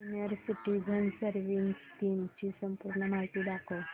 senior citizens savings scheme ची संपूर्ण माहिती दाखव